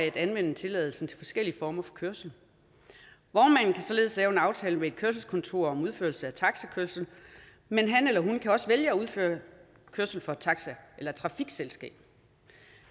at anvende tilladelsen til forskellige former for kørsel vognmanden kan således lave en aftale med et kørselskontor om udførelse af taxikørsel men han eller hun kan også vælge at udføre kørsel for et taxi eller trafikselskab